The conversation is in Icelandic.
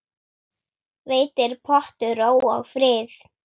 Veitir pottur ró og frið.